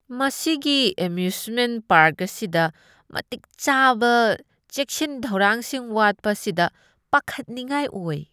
ꯃꯁꯤꯒꯤ amusement park ꯑꯁꯤꯗ ꯃꯇꯤꯛ ꯆꯥꯕ ꯆꯦꯛꯁꯤꯟ ꯊꯧꯔꯥꯡꯁꯤꯡ ꯋꯥꯠꯄ ꯑꯁꯤꯗ ꯄꯥꯈꯠꯅꯤꯡꯉꯥꯏ ꯑꯣꯏ꯫